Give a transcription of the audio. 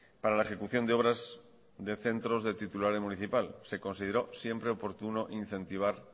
para la ejecución de obras de centros de titularidad municipal se consideró siempre oportuno incentivar